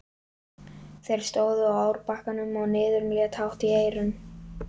Þeir stóðu á árbakkanum og niðurinn lét hátt í eyrum.